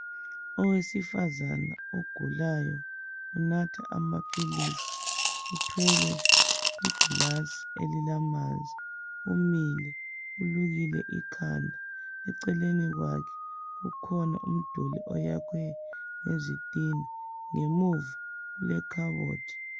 Owesifazana ogulayo unatha amaphilisi uthwele igilasi elilamanzi umile ulukile ikhanda eceleni kwakhe kukhona umduli oyakhiwe ngezitina ngemuva kule khabothi